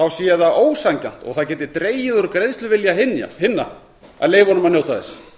sé það ósanngjarnt og það geti dregið úr greiðsluvilja hinna að leyfa honum að njóta þess